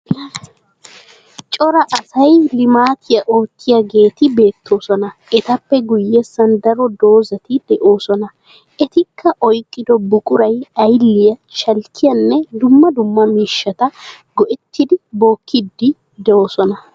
Cora asay limaatiya oottiyageeti beettoosona . Etappe guyyessan daro dozzati de'oosona. Etikka oyikkido buquray ayilliya, shalkkiyanne dumma dumma miishshata go'ettidi bookkiiddi doosona.